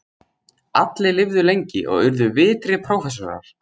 Allir lifðu lengi og urðu virtir prófessorar.